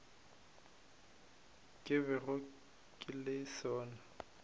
ke bego ke le sona